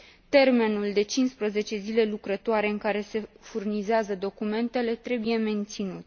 Termenul de 15 zile lucrătoare în care se furnizează documentele trebuie menținut.